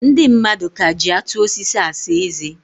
Ndị madụ ka ji atụ osisi asa eze.